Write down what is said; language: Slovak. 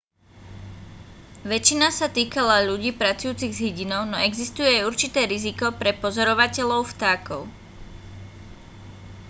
väčšina sa týkala ľudí pracujúcich s hydinou no existuje aj určité riziko pre pozorovateľov vtákov